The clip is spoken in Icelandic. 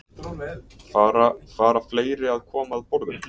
Fara, fara fleiri að koma að borðinu?